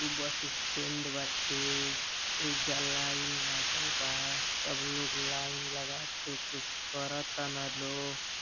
ऊ bus stand बाटे ओइजा लाइन लागल बा सब लोग लाइन लगाके कुछ करतारन लोग।